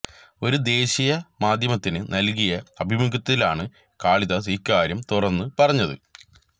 ഒരു ദേശിയ മാധ്യമത്തിന് നല്കിയ അഭിമുഖത്തിലാണ് കാളിദാസ് ഇക്കാര്യം തുറന്ന് പറഞ്ഞത്